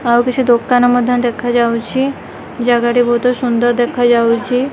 ଆଉ କିଛି ଦୋକାନ ମଧ୍ୟ ଦେଖାଯାଉଚି ଜାଗା ଟି ବହୁତ ସୁନ୍ଦର ଦେଖାଯାଉଚି।